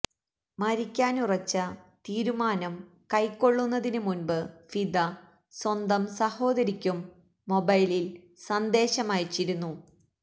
മരിക്കാനുറച്ച തീരുമാനം കൈക്കൊള്ളുന്നതിന് മുന്പ് ഫിദ സ്വന്തം സഹോദരിക്കും മൊബൈലില് സന്ദേശമയച്ചിരുന്നു